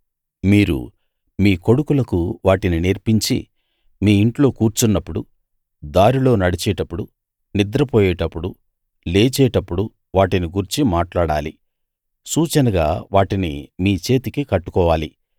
మీరు మీ కొడుకులకు వాటిని నేర్పించి మీ ఇంట్లో కూర్చున్నప్పుడూ దారిలో నడిచేటప్పుడూ నిద్రపోయేటప్పుడూ లేచేటప్పుడూ వాటిని గూర్చి మాట్లాడాలి సూచనగా వాటిని మీ చేతికి కట్టుకోవాలి